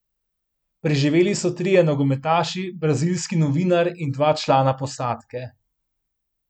Preživeli so trije nogometaši, brazilski novinar in dva člana posadke.